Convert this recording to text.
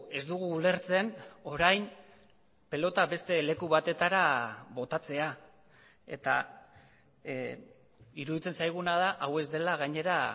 ez dugu ulertzen orain pilota beste leku batetara botatzea eta iruditzen zaiguna da hau ez dela gainera